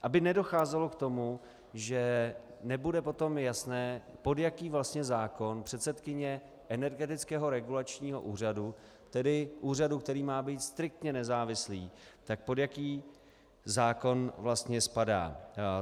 Aby nedocházelo k tomu, že nebude potom jasné, pod jaký vlastně zákon předsedkyně Energetického regulačního úřadu, tedy úřadu, který má být striktně nezávislý, tak pod jaký zákon vlastně spadá.